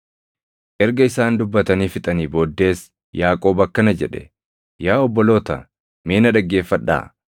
Erga isaan dubbatanii fixanii booddees Yaaqoob akkana jedhe; “Yaa obboloota, mee na dhaggeeffadhaa!